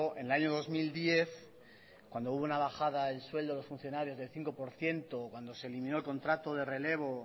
en el año dos mil diez cuando hubo una bajada del sueldo de los funcionarios del cinco por ciento cuando se eliminó el contrato de relevo